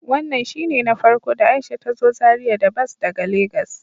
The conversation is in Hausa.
Wannan shine na farko da Aisha ta zo Zaria da bas daga lagos.